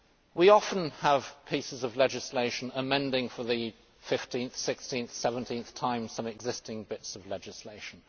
We often have pieces of legislation amending for the 15 th 16 th or 17 th time some existing pieces of legislation.